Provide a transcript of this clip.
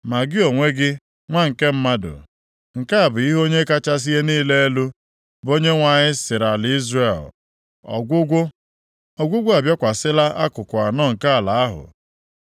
“Ma gị onwe gị, Nwa nke mmadụ, nke a bụ ihe Onye kachasị ihe niile elu, bụ Onyenwe anyị sịrị ala Izrel: “ ‘Ọgwụgwụ! Ọgwụgwụ abịakwasịla akụkụ anọ nke ala ahụ.